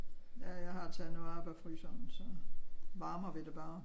Ja jeg har taget noget op af fryseren. Så varmer vi det bare